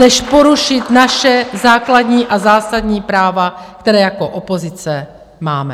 Než porušit naše základní a zásadní práva, která jako opozice máme.